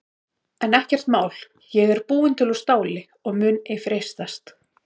En ekkert mál ég er búin til úr STÁLI og mun ei freistast.